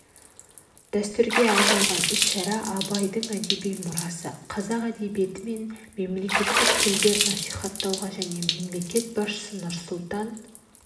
дәстүрге айналған іс-шара абайдың әдеби мұрасын қазақ әдебиеті мен мемлекеттік тілді насихаттауға және мемлекет басшысы нұрсұлтан